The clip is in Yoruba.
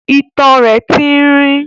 itan rẹ̀ tín-ín-rín.